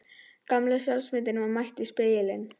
Gamla sjálfsmyndin var mætt í spegilinn.